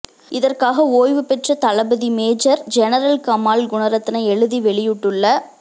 இதற்காக ஓய்வுபெற்ற தளபதி மேஜர் ஜெனரல் கமால் குணரத்ன எழுதி வெளியிட்டுள்ள